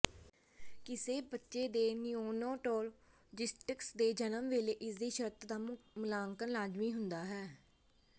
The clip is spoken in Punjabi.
ਕਿਸੇ ਬੱਚੇ ਦੇ ਨਿਊਨੋਟੌਲੋਜਿਸਟਸ ਦੇ ਜਨਮ ਵੇਲੇ ਇਸਦੀ ਸ਼ਰਤ ਦਾ ਮੁਲਾਂਕਣ ਲਾਜ਼ਮੀ ਹੁੰਦਾ ਹੈ